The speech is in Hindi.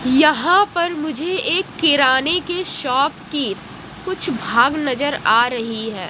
यहां पर मुझे एक किराने के शॉप की कुछ भाग नजर आ रही है।